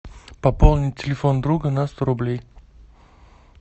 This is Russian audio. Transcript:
пополнить телефон друга на сто рублей